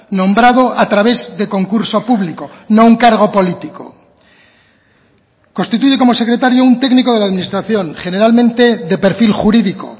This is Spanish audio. nombrado a través de concurso público no un cargo político constituye como secretario un técnico de la administración generalmente de perfil jurídico